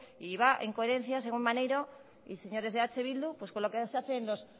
y va en coherencia maneiro y señores de eh bildu según con lo que se hace en los